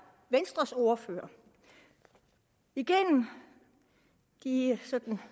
venstres ordfører igennem de sådan